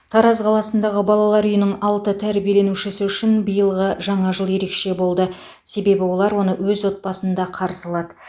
тараз қаласындағы балалар үйінің алты тәрбиеленушісі үшін биылғы жаңа жыл ерекше болды себебі олар оны өз отбасында қарсы алады